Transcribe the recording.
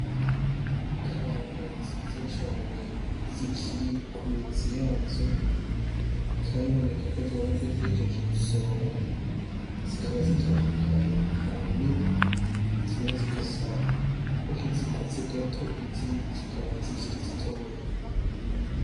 Ikaranga nziza cane zikiri ku mizi yazo bikaba biboneka ko zoba zari zihejeje gusoromwa, zikaba zitandukanye kubunini, zimwe zigasa nki izikunze gato, izindi zikaba zikiri zitoya.